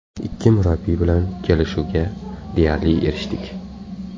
Ikki murabbiy bilan kelishuvga deyarli erishdik.